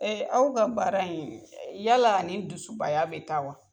aw ka baara in yala ani dusu baya bɛ taa wa?